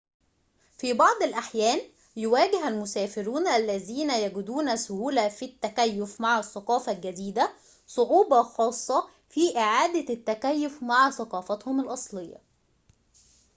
في بعض الأحيان يواجه المسافرون الذين يجدون سهولة في التكيف مع الثقافة الجديدة صعوبة خاصة في إعادة التكيف مع ثقافتهم الأصلية